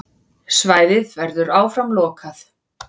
Svæðið verður áfram lokað.